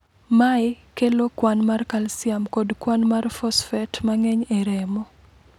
Mae kelo kwan mar kalsium kod kwan mar fosfet mang'eny e remo.